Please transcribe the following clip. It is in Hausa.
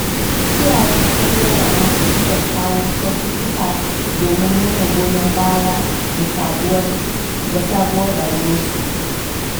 Iyayen amarya da ango sukan kawo kyaututtuka domin nuna goyon baya ga sabuwar rayuwarsu.